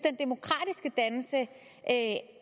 at